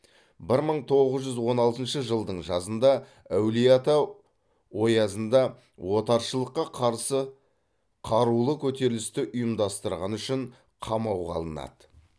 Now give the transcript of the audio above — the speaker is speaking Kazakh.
бір мың тоғыз жүз он алтыншы жылдың жазында әулиеата оязында отаршылдыққа қарсы қарулы көтерілісті ұйымдастырғаны үшін қамауға алынады